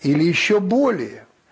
или ещё более